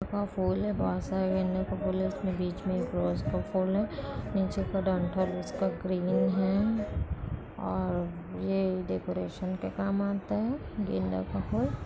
फूल हैं बहुत सारे गेंदा के के फूल है उसमे बीच में एक रोज़ का फूल है नीचे का डंठल उसका ग्रनी है और ये डैकोरेशन के काम आता है गेंदा का फुल।